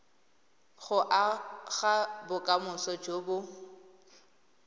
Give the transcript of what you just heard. go aga bokamoso jo bo